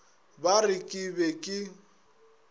ba re ke be ke